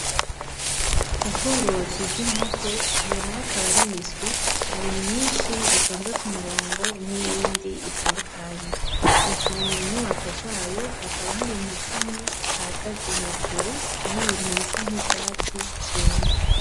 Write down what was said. Ubworozi bw'inkoko iyo nayo akaba ari imiswi hari myinshi itonze kumurongo n'iyindi itandukanye, ziri munyubako zayo hakaba hari nakamwe gahagaze hejuru y'ibintu bisa nk'ivyatsi vyumvye.